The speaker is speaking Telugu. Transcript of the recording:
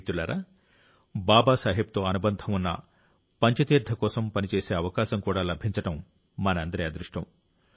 మిత్రులారా బాబాసాహెబ్తో అనుబంధం ఉన్న పంచ తీర్థం కోసం పని చేసే అవకాశం కూడా లభించడం మనందరి అదృష్టం